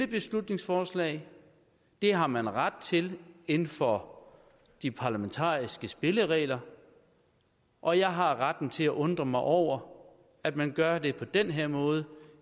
beslutningsforslaget det har man ret til inden for de parlamentariske spilleregler og jeg har retten til at undre mig over at man gør det på den her måde